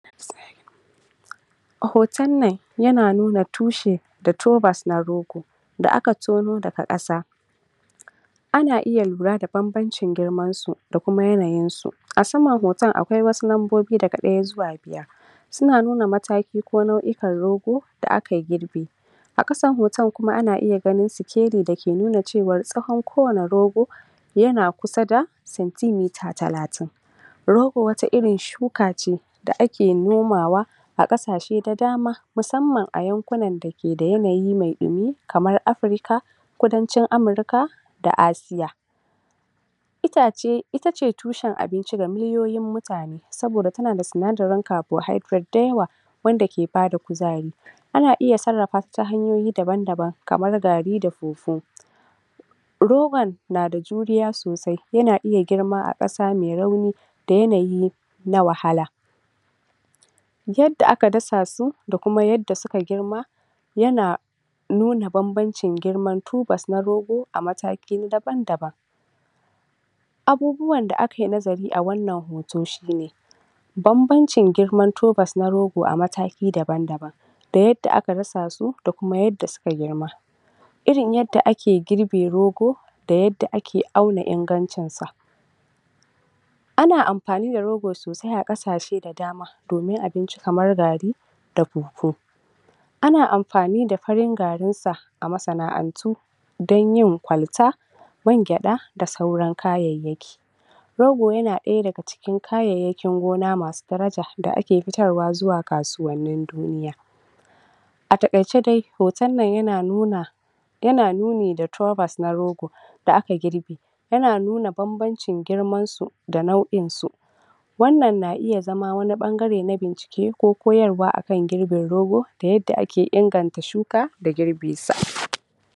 Na ce wannan kuma hoton da nike gani a nan hoto ne aka bani domin in yi bayani a kan shi wannan hoton yana dauke ne da abubuwa da yawa na ga kaman mota ne babba wadda ta ke rushi wani bene ne sama da ƙasa sannan kuma ga gayinan dai ta cigaba da aikin na rushewa ga wani mutumi nan a ƙasa kamar shi ke kula da yadda motan ke rushewa, motan ne dai gata nan mai ruwan ƙwai ba dai ta da tayoyi wadda ake kiranta da sarkin aiki wanda duk girman gini ta kan rushe shi A saman ginin ga shi nan ta fara ta dai fara kusan rabi dai da kwata ga dai nan ginin kaman shaguna ne da baƙaƙen kwanu amma dai an fara rushewa da alaman ba a cire kwanon ba da kata da katakon A hoton dai da muke gani nan ginin dai yana da girma sosai inda dai na ko ginin ne bai ma engineer ba shima dai wannan bamu sani ba ko kuma ince anyi ginin ne ba bisa ka'ida ba ga kuma can hadari da muke gani ya haɗu kaman dai lokacin damina ne lokacin damina ne ga ciyayi nan ah mai ruwan koren nan a ruwan koren su ga bishiyoyi chan ma daga baya hanyan ma dai in ma dai kasuwa ne nan gaskiya dai tana buƙatan gyara da yake kuma hanya ne dai banga an fitar da hanyar ruwa ko wani abu ba kila shine dalilin da ya sa a ke rushe wannan ko ginin ba mu sani amma dai gayinan lafiya lau mota tana aiki yanda ya kamata irin wanda ake irin motan nan da ake ce mata sarkin aiki duk girman abu tana rushe shi kuma ba tare da ba tare da ta samu wani matsala ko wani tangarɗa da zai hana ta wannan aikin ba amma gashi nan ba ma dai a kwance ba ana rushe gidan ne ko kuma in ce shaguna shagunan ba tare da an cire kwanonin ba ko kuma katakon da aka rufe abin ba kafin a abinnan in kwanonin sosai wannan dai iya shine abin dana fahimta da wannan wannan hoto in kuma da wani ƙarin bayani na gani kafin in gama yawwa itama wancan hanya ce ta shiga a bayan shima nan kaman wani gini ne irin gidan gona haka yanda na lura kenan.